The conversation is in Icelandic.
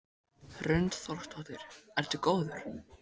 Hrund Þórsdóttir: Ertu góður?